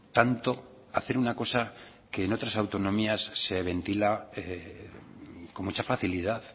tanto hacer una cosa que en otras autonomías se ventila con mucha facilidad